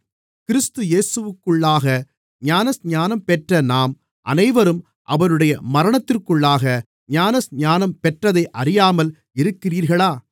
கிறிஸ்து இயேசுவிற்குள்ளாக ஞானஸ்நானம் பெற்ற நாம் அனைவரும் அவருடைய மரணத்திற்குள்ளாக ஞானஸ்நானம் பெற்றதை அறியாமல் இருக்கிறீர்களா